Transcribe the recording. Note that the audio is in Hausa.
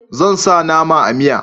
Zan sa nama a miya